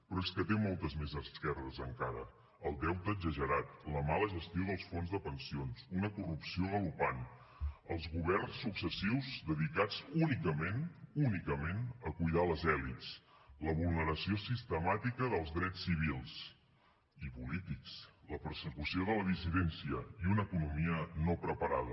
però és que té moltes més esquerdes encara el deute exagerat la mala gestió dels fons de pensions una corrupció galopant els governs successius dedicats únicament únicament a cuidar les elits la vulneració sistemàtica dels drets civils i polítics la persecució de la dissidència i una economia no preparada